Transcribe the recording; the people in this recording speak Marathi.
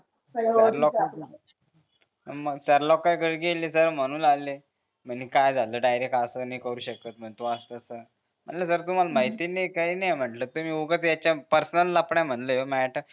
सर लोकांयकडे गेली सर म्हणू लागले म्हणे काय झालं डायरेक्ट असं नि करू शकत म्हणे तू असं तस म्हणलं सर तुम्हाले माहित नि काही नि म्हणलं तुम्ही उगाच यांच्यात पर्सनल लफडं हे म्हणले ह्यो माह्यत